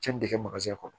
Cɛnni de kɛ kɔnɔ